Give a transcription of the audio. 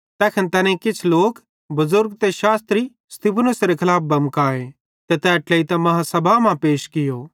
तैखन तैनेईं किछ लोक बुज़ुर्ग ते शास्त्री स्तिफनुसेरां खलाफ बमकाए ते तै ट्लेइतां बेड्डी आदालती मां पैश कियो